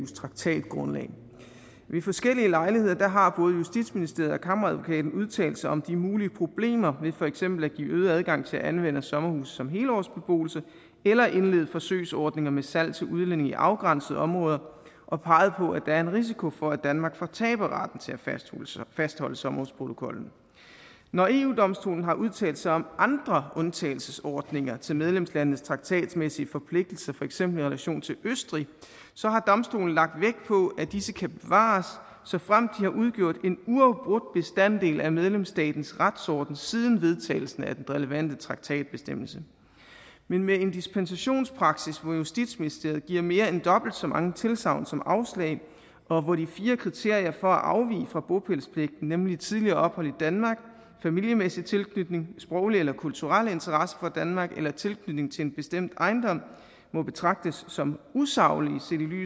traktatgrundlag ved forskellige lejligheder har både justitsministeriet og kammeradvokaten udtalt sig om de mulige problemer ved for eksempel at give øget adgang til anvendelse af sommerhuse som helårsbeboelse eller indlede forsøgsordninger med salg til udlændinge i afgrænsede områder og peget på at der er en risiko for at danmark fortaber retten til at fastholde sommerhusprotokollen når eu domstolen har udtalt sig om andre undtagelsesordninger til medlemslandenes traktatmæssige forpligtelser for eksempel i relation til østrig så har domstolen lagt vægt på at disse kan bevares såfremt de har udgjort en uafbrudt bestanddel af medlemsstatens retsorden siden vedtagelsen af den relevante traktatbestemmelse men med en dispensationspraksis hvor justitsministeriet giver mere end dobbelt så mange tilsagn som afslag og hvor de fire kriterier for at afvige fra bopælspligten nemlig tidligere ophold i danmark familiemæssig tilknytning sproglig eller kulturel interesse for danmark eller tilknytning til en bestemt ejendom må betragtes som usaglige